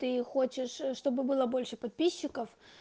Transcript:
ты хочешь чтобы было больше подписчиков